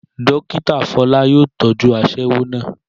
Dókítà Fọlá yóò tọ́jú aṣẹ́wó náà